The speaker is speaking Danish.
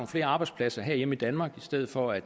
flere arbejdspladser herhjemme i danmark i stedet for at